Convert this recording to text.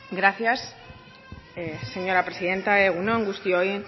gracias señora presidenta egun on guztioi